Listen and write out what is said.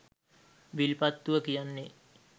විල්පත්තුව කියන්නෙ